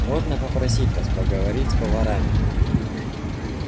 можно попросить вас поговорить с поварами